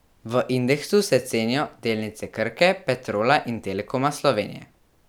V indeksu se cenijo delnice Krke, Petrola in Telekoma Slovenije.